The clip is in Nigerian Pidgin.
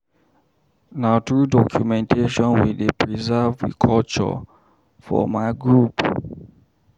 Na through documentation we dey preserve we culture for my group.